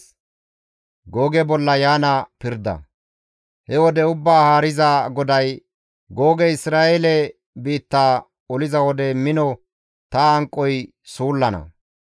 «He wode Ubbaa Haariza GODAY, ‹Googey Isra7eele biitta oliza wode mino ta hanqoy suullana.